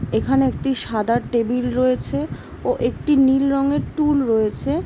এখানে একটি সাদা টেবিল রয়েছে ও একটি নীল রংয়ের টুল রয়েছে।